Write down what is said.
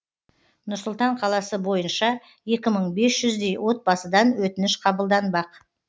нұр сұлтан қаласы бойынша екі мың бес жүздей отбасыдан өтініш қабылданбақ